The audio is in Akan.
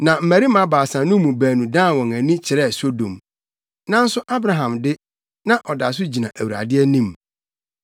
Na mmarima baasa no mu baanu dan wɔn ani kyerɛɛ Sodom. Nanso Abraham de, na ɔda so gyina Awurade anim.